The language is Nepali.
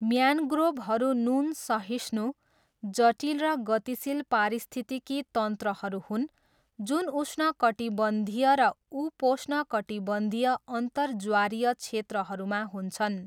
म्यान्ग्रोभहरू नुन सहिष्णु, जटिल र गतिशील पारिस्थितिकी तन्त्रहरू हुन् जुन उष्णकटिबन्धीय र उपोष्णकटिबन्धीय अन्तर ज्वारीय क्षेत्रहरूमा हुन्छन्।